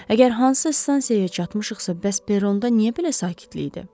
Əgər hansısa stansiyaya çatmışıqsa, bəs peronda niyə belə sakitlik idi?